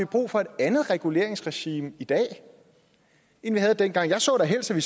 brug for et andet reguleringsregime i dag end vi havde dengang jeg så da helst at i